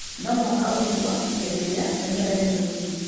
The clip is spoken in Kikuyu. No mũhaka ũrutwo hĩndĩ ĩrĩa mĩmera ĩrĩ mĩnini